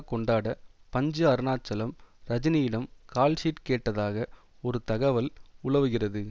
கொண்டாட பஞ்சு அருணாச்சலம் ரஜினியிடம் கால்ஷீட் கேட்டதாக ஒரு தகவல் உலவுகிறது